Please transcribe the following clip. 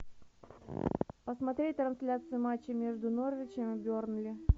посмотреть трансляцию матча между норвичем и бернли